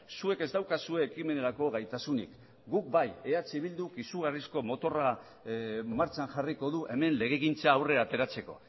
zuek ez daukazue ekimenerako gaitasunik guk bai eh bilduk izugarrizko motorra martxan jarriko du hemen legegintza aurrera ateratzeko